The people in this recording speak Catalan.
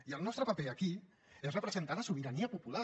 i el nostre paper aquí és representar la sobirania popular